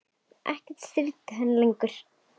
Ekkert stríddi á hann lengur.